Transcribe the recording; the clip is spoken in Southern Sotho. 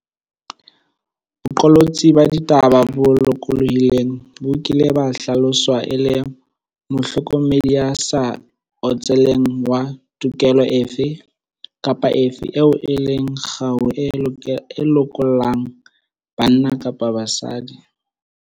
Boqolotsi ba ditaba bo lokolohileng bo kile ba hlaloswa e le mohlokomedi ya sa otseleng wa tokelo efe kapa efe eo e leng kgau e lokollang banna kapa basadi.